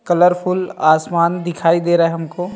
Colourful आसमान दिखाई दे रहा है हमको।